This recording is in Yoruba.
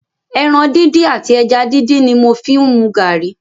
Ẹ̀ran díndín àti ẹja díndín ni mò ń fi mu garri.